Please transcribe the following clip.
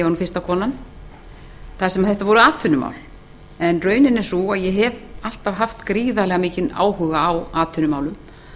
ég var fyrsta konan þar sem þetta voru atvinnumál raunin er hins vegar sú að ég hef alltaf haft gríðarlega mikinn áhuga á atvinnumálum